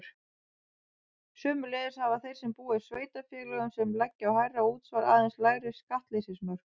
Sömuleiðis hafa þeir sem búa í sveitarfélögum sem leggja á hærra útsvar aðeins lægri skattleysismörk.